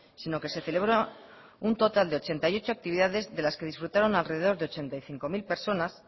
sino que se celebró un total de ochenta y ocho actividades de las que disfrutaron alrededor de ochenta y cinco mil personas